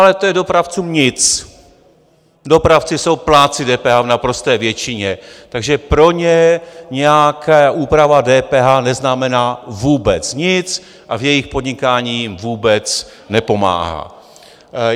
Ale to je dopravcům nic, dopravci jsou plátci DPH v naprosté většině, takže pro ně nějaká úprava DPH neznamená vůbec nic a v jejich podnikání jim vůbec nepomáhá.